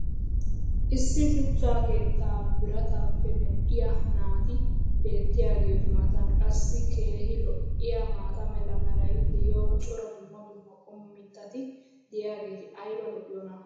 issi shuchcha keettaa birataappe medhdhiyaa naati beetiyaageetu matan qassi keehi lo'iyaa maata mala meray diyo cora dumma dumma qommo mitati diyaageti ayba lo'iyoonaa?